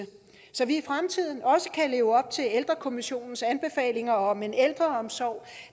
så vi i fremtiden også kan leve op til ældrekommissionens anbefalinger om en ældreomsorg